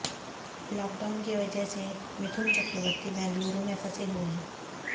lockdown की वजह से मिथु चक्रवर्ती बेंगलुरु में फंसे हुए हैं